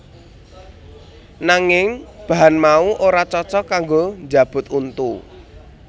Nanging bahan mau ora cocok kanggo njabut untu